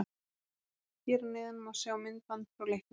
Hér að neðan má sjá myndband frá leiknum: